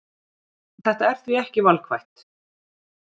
Þetta er því ekki valkvætt